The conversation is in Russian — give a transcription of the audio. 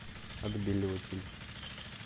отбеливатель